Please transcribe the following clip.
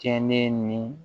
Kɛ ne ni